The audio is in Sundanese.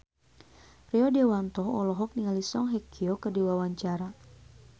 Rio Dewanto olohok ningali Song Hye Kyo keur diwawancara